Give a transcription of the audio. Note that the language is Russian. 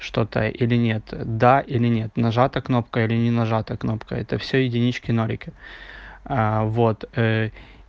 что-то или нет да или нет нажата кнопка или не нажата кнопка это всё единички нолики а вот